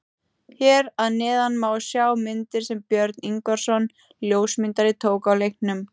Hér að neðan má sjá myndir sem Björn Ingvarsson ljósmyndari tók á leiknum.